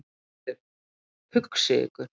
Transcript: GVENDUR: Hugsið yður!